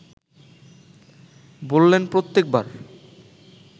বললেন প্রত্যেক বার